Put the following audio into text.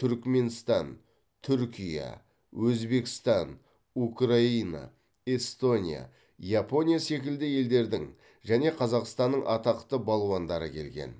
түрікменстан түркия өзбекстан украина эстония япония секілді елдердің және қазақстанның атақты балуандары келген